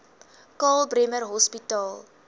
karl bremer hospitaal